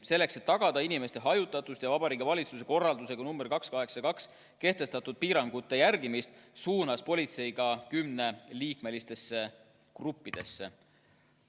Selleks et tagada inimeste hajutatust ja Vabariigi Valitsuse korraldusega nr 282 kehtestatud piirangute järgimist, suunas politsei tähelepanu kümneliikmelistele gruppidele.